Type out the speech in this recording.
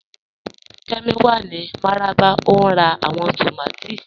Kẹ́mí wà ní Mararaba o n rá awọn tómàtì